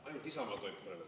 Ainult Isamaa …?